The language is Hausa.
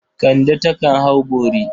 Kande takan hau bori.